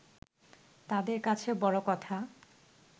তাঁদের কাছে বড় কথা